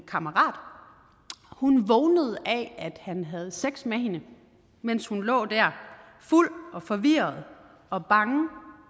kammerat hun vågnede af at han havde sex med hende mens hun lå der fuld og forvirret og bange